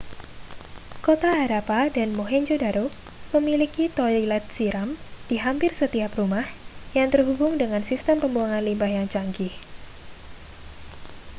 kota harappa dan mohenjo-daro memiliki toilet siram di hampir setiap rumah yang terhubung dengan sistem pembuangan limbah yang canggih